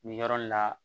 Nin yɔrɔ nin la